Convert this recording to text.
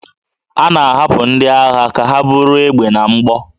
A na-ahapụ ndị agha ka ha buru egbe na mgbọ